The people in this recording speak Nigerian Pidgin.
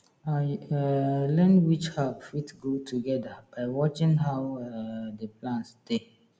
i um learn which herb fit grow together by watching how um the plants dey